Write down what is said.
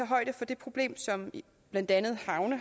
højde for det problem som blandt andet havne